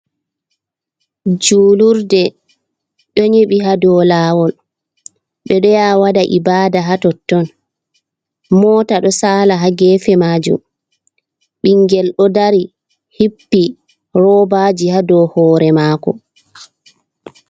Julurde ɗo nyiɓi ha dou lawol ɓe ɗo yaha waɗa ibada ha totton mota ɗo sala ha gefe majum bingel ɗo dari hippi roobaji ha dou hore mako.